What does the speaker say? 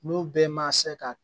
N'u bɛɛ ma se ka